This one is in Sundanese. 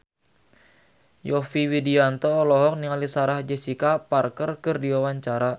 Yovie Widianto olohok ningali Sarah Jessica Parker keur diwawancara